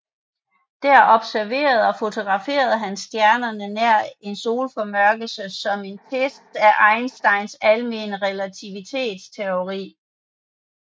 Der observerede og fotograferede han stjernerne nær en solformørkelse som en test af Einsteins almene relativitetsteori